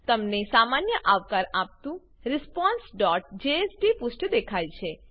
તમને સામાન્ય આવકાર આપતું responseજેએસપી પુષ્ઠ દેખાય છે